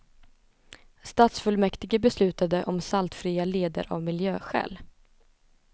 Stadsfullmäktige beslutade om saltfria leder av miljöskäl.